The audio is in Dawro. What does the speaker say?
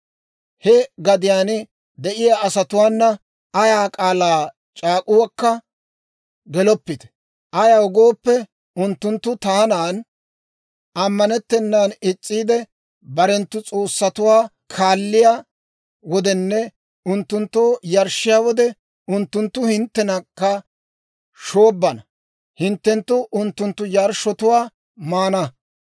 «He gadiyaan de'iyaa asatuwaana ayaa k'aalaa c'aak'uwaakka geloppite; ayaw gooppe, unttunttu taanan ammanettennaan is's'iide barenttu s'oossatuwaa kaalliyaa wodenne unttunttoo yarshshiyaa wode, unttunttu hinttenakka shoobbana; hinttenttu unttunttu yarshshotuwaa maana.